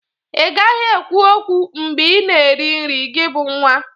Ị gaghị ekwu okwu mbe ị na-eri nri, gị bụ nwa!